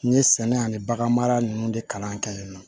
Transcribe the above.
N ye sɛnɛ ani bagan mara ninnu de kalan kɛ yen nɔ